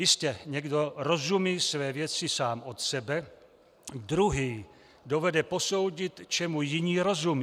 Jistě, někdo rozumí své věci sám od sebe, druhý dovede posoudit, čemu jiní rozumí.